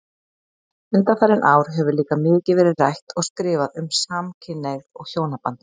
Undanfarin ár hefur líka mikið verið rætt og skrifað um samkynhneigð og hjónaband.